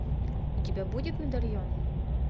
у тебя будет медальон